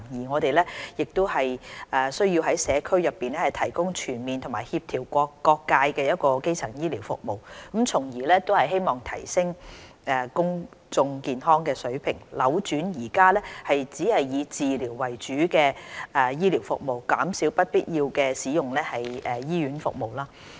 我們需要於社區內提供全面和協調各界的基層醫療服務，從而希望提升公眾健康的水平，扭轉目前以治療為主的醫療服務，減少不必要地使用醫院服務。